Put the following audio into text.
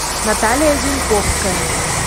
наталья зинковская